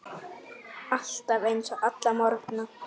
Alltaf eins, alla morgna.